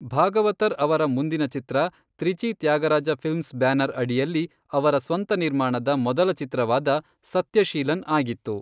ಭಾಗವತರ್ ಅವರ ಮುಂದಿನ ಚಿತ್ರ, ತ್ರಿಚಿ ತ್ಯಾಗರಾಜ ಫಿಲ್ಮ್ಸ್ ಬ್ಯಾನರ್ ಅಡಿಯಲ್ಲಿ ಅವರ ಸ್ವಂತ ನಿರ್ಮಾಣದ ಮೊದಲ ಚಿತ್ರವಾದ, ಸತ್ಯಶೀಲನ್, ಆಗಿತ್ತು.